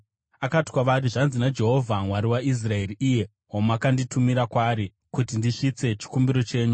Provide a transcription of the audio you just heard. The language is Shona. Akati kwavari, “Zvanzi naJehovha, Mwari waIsraeri, iye wamakanditumira kwaari kuti ndisvitse chikumbiro chenyu: